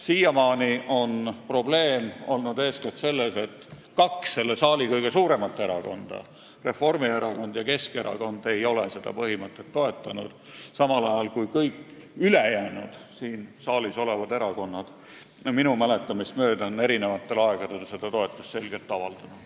Siiamaani on probleem olnud eeskätt selles, et kaks kõige suuremat parlamendierakonda – Reformierakond ja Keskerakond – ei ole seda põhimõtet toetanud, samal ajal kui kõik ülejäänud siin saalis olevad erakonnad on sellele minu mäletamist mööda eri aegadel selget toetust avaldanud.